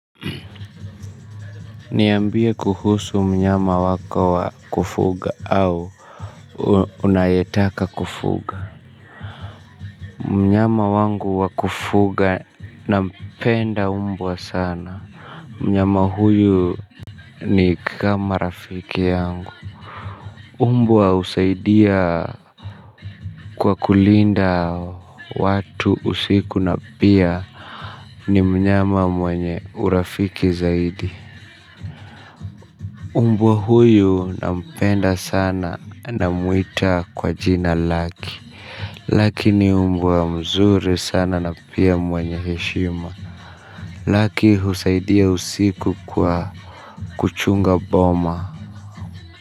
Niambie kuhusu mnyama wako wa kufuga au unayetaka kufuga. Mnyama wangu wa kufuga nampenda mbwa sana. Mnyama huyu ni kama rafiki yangu. Mbwa husaidia kwa kulinda watu usiku na pia ni mnyama mwenye urafiki zaidi. Mbwa huyu nampenda sana na namuita kwa jina lake. Laki ni mbwa mzuri sana na pia mwenye heshima. Laki husaidia usiku kwa kuchunga boma.